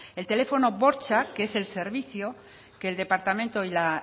el teléfono bortxa que es el servicio que el departamento y la